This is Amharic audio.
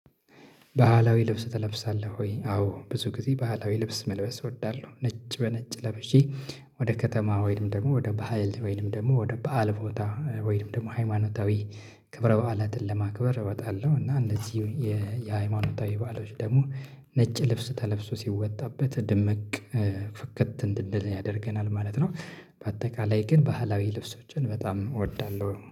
ባህላዊ ልብስ ትለብሳለህ ወይ? አዎ ብዙ ጊዜ ባህላዊ ልብስ መልበስ እወዳለሁ ነጭ በነጭ ለብሼ ወደ ከተማ ወይንም ደግሞ ወደ በሃይል ወይንም ደግሞ ወደ በዓል ቦታ ወይንም ደግሞ ሃይማኖታዊ ክብረ በዓላትን ለማክበር እወጣለሁ እና እንደዚሁ የሃይማኖታዊ በዓሎች ደግሞ ነጭ ልብስ ተለብሶ ሲወጣበት ድምቅ ፍከት እንድንል ያደርገናል ማለት ነው በአጠቃላይ ግን ባህላዊ ልብሶችን በጣም እወዳለሁ።